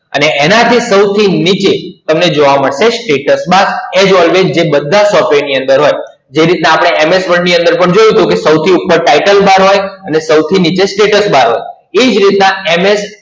અને એનાથી સૌથી નીચે તમને જોવા મળશે Status Bar as always જે બધા Software ની અંદર હોય. જે રીતના આપણે MS Word ની અંદર પણ જોયું તું કે સૌથી ઉપર Title Bar હોય અને સૌથી નીચે Status Bar હોય, ઇ જ રીતના MS